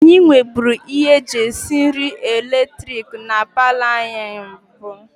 Anyị nweburu ihe eji esi nri eletiriki na paalọ anyị na mbụ